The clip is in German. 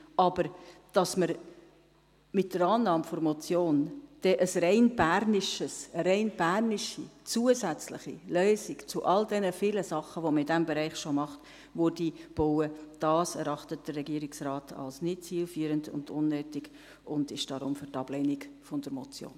Dass wir aber dann mit der Annahme der Motion eine rein bernische zusätzliche Lösung zu all den vielen Sachen, die man in diesem Bereich schon macht, einbauen würde, erachtet der Regierungsrat als nicht zielführend und unnötig und ist darum für die Ablehnung der Motion.